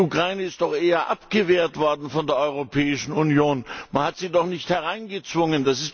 Die Ukraine ist doch eher abgewehrt worden von der Europäischen Union, man hat sie doch nicht hereingezwungen.